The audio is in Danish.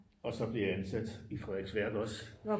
Og så blev jeg ansat i Frederiksværk også